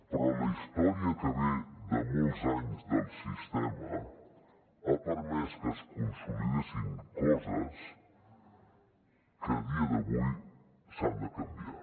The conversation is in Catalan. però la història que ve de molts anys del sistema ha permès que es consolidessin coses que a dia d’avui s’han de canviar